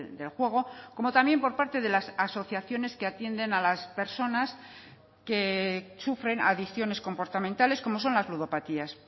del juego como también por parte de las asociaciones que atienden a las personas que sufren adicciones comportamentales como son las ludopatías